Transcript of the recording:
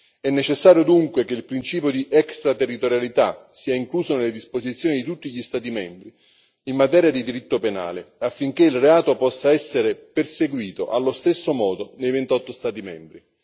È necessario dunque che il principio di extraterritorialità sia incluso nelle disposizioni di tutti gli Stati membri in materia di diritto penale affinché il reato possa essere perseguito allo stesso modo nei 28 Stati membri.